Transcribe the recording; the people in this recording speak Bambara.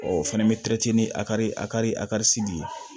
O fɛnɛ bɛ a kari a kari asira